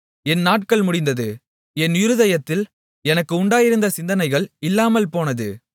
என் நாட்கள் முடிந்தது என் இருதயத்தில் எனக்கு உண்டாயிருந்த சிந்தனைகள் இல்லாமல் போனது